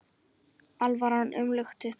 Alvaran umlukti þau.